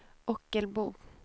Ockelbo